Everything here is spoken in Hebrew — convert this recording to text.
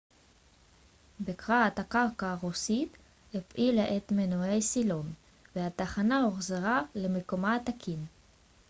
בקרת הקרקע הרוסית הפעילה את מנועי הסילון והתחנה הוחזרה למיקומה התקין